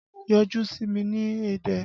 Yọjú sí mi ní Ẹdẹ!